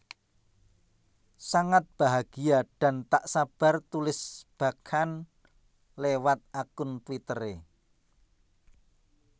Sangat bahagia dan tak sabar tulis Bachchan lewat akun Twittere